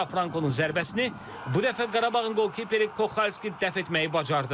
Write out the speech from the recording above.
Şafrankonun zərbəsini bu dəfə Qarabağın qapıçısı Kohalski dəf etməyi bacardı.